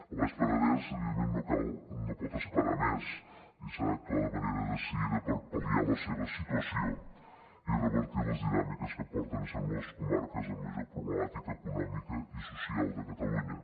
el baix penedès evidentment no pot esperar més i s’ha d’actuar de manera decidida per pal·liar la seva situació i revertir les dinàmiques que la porten a ser una de les comarques amb major problemàtica econòmica i social de catalunya